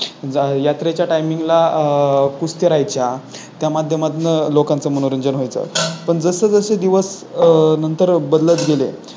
यात्रेच्या Timing ला कुस्त्या राहायच्या त्या माध्यमातून लोकांचे मनोरंजन व्हायचा. पण जसजसे दिवस नंतर बदलत गेले